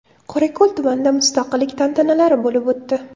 Qorako‘l tumanida mustaqillik tantanalari bo‘lib o‘tdi .